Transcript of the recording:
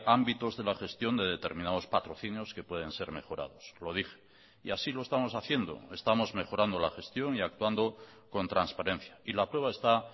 ámbitos de la gestión de determinados patrocinios que pueden ser mejorados lo dije y así lo estamos haciendo estamos mejorando la gestión y actuando con transparencia y la prueba está